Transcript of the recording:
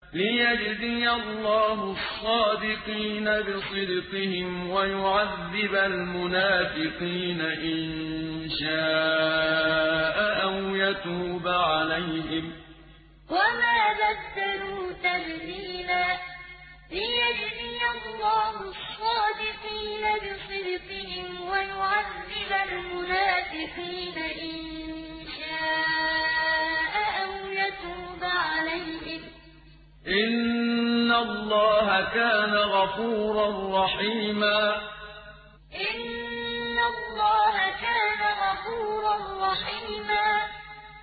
لِّيَجْزِيَ اللَّهُ الصَّادِقِينَ بِصِدْقِهِمْ وَيُعَذِّبَ الْمُنَافِقِينَ إِن شَاءَ أَوْ يَتُوبَ عَلَيْهِمْ ۚ إِنَّ اللَّهَ كَانَ غَفُورًا رَّحِيمًا لِّيَجْزِيَ اللَّهُ الصَّادِقِينَ بِصِدْقِهِمْ وَيُعَذِّبَ الْمُنَافِقِينَ إِن شَاءَ أَوْ يَتُوبَ عَلَيْهِمْ ۚ إِنَّ اللَّهَ كَانَ غَفُورًا رَّحِيمًا